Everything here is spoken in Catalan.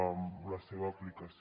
en la seva aplicació